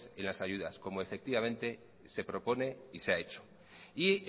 en las ayudas como efectivamente se propone y se ha hecho y